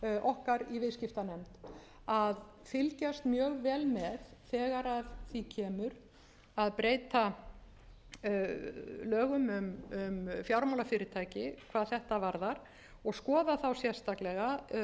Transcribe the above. okkar í viðskiptanefnd að fylgjast mjög vel með þegar að því kemur að breyta lögum um fjármálafyrirtæki hvað þetta varðar og skoða þá sérstaklega stöðu stjórna